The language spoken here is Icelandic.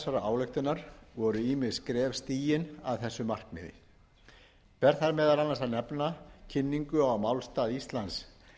ályktunar voru ýmis skref stigin að þessu markmiði ber þar meðal annars að nefna kynningu á málstað íslands